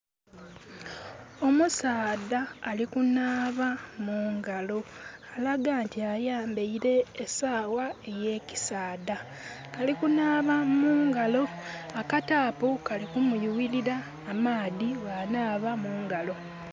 Omusaadha alikunaaba mungalo. Alaga nti ayambaire esaawa eye kisaadha. Alikunaaba mungalo, aka tapu kali kumuyuwirira amaadhi bwa naaba mungalo